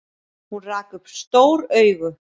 Hún rak upp stór augu.